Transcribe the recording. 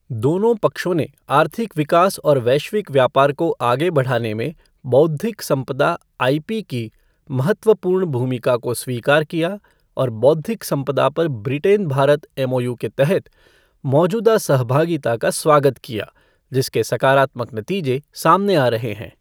दोनों पक्षों ने आर्थिक विकास और वैश्विक व्यापार को आगे बढ़ाने में बौद्धिक संपदा आईपी की महत्वपूर्ण भूमिका को स्वीकार किया और बौद्धिक संपदा पर ब्रिटेन भारत एमओयू के तहत मौजूदा सहभागिता का स्वागत किया, जिसके सकारात्मक नतीजे सामने आ रहे हैं।